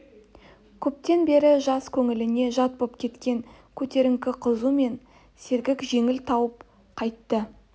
көптен бері жас көңіліне жат боп кеткен көтеріңкі қызу мен сергек желік тауып қайтты